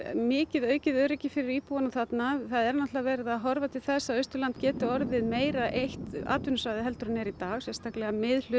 mikið aukið öryggi fyrir íbúana þarna það er verið að horfa til þess að Austurland geti orðið meira eitt atvinnusvæði en það er í dag sérstaklega